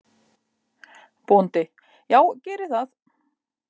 BÓNDI: Já, gerið það.